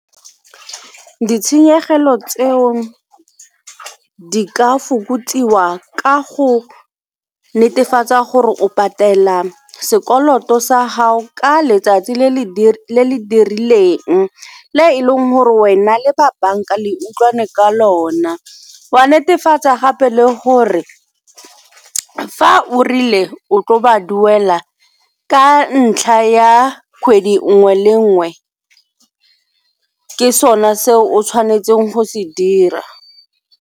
Ditshenyegelo tseo di ka fokotsiwa ka go netefatsa gore o patela sekoloto sa gao ka letsatsi le le dirileng le e leng gore wena le ba banka le utlwaneng ka lona wa netefatsa gape le gore fa o rile o tlo ba duela ka ntlha ya kgwedi nngwe le nngwe ke sone se o tshwanetseng go se dira.